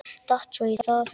Datt svo í það.